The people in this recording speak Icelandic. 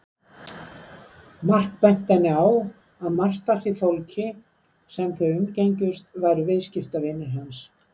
Mark benti henni á að margt af því fólki sem þau umgengjust væru viðskiptavinir hans.